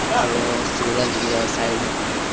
और वो सूरज भी है साइड में।